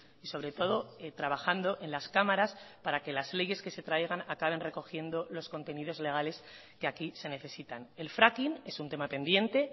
y sobre todo trabajando en las cámaras para que las leyes que se traigan acaben recogiendo los contenidos legales que aquí se necesitan el fracking es un tema pendiente